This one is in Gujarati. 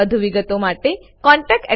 વધુ વિગતો માટે contactspoken tutorialorg પર લખો